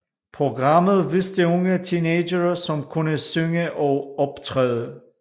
Programmet viste unge teenagere som kunne synge og optræde